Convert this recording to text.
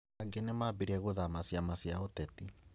Angĩ nĩambĩrĩirie gũthama ciama cia ũteti